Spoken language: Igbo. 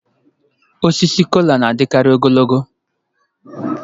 Osisi Kola na-adịkarị ogologo